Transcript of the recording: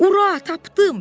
Ura, tapdım!